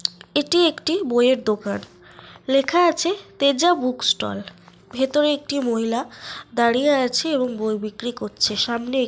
এটি একটি বইয়ের দোকান। লেখা আছে তেজা বুক স্টল । ভেতরে একটি মহিলা দাঁড়িয়ে আছে এবং বই বিক্রি করছে। সামনে এক--